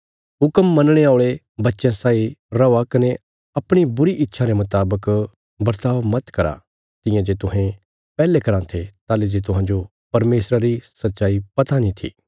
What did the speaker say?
हुक्म मनणे औल़े बच्चयां साई रौआ कने अपणी बुरी इच्छां रे मुतावक बर्ताव मत करा तियां जे तुहें पैहले कराँ थे ताहली जे तुहांजो परमेशरा री सच्चाई पता नीं थी